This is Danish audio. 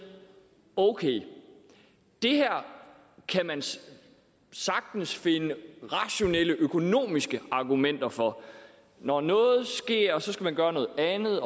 okay det her kan man sagtens finde rationelle økonomiske argumenter for når noget sker skal man gøre noget andet